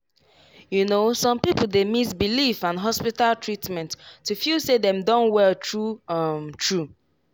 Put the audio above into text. you know some people dey mix belief and hospital treatment to feel say dem don well true um true.